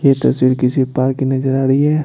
ये तस्वीर किसी पार की नजर आ रही है।